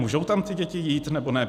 Můžou tam ty děti jít, nebo ne?